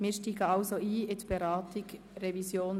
Somit steigen wir ein in die Beratung der SHGRevision.